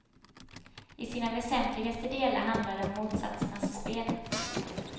I sina väsentligaste delar handlar det om motsatsernas spel.